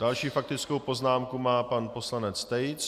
Další faktickou poznámku má pan poslanec Tejc.